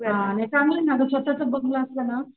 हा नाही अग चांगलंय ना स्वतःच बंगला असला ना,